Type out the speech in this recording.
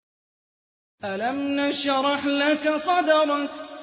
أَلَمْ نَشْرَحْ لَكَ صَدْرَكَ